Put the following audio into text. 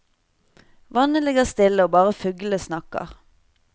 Vannet ligger stille og bare fuglene snakker.